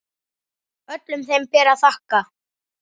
Öllum þeim ber að þakka.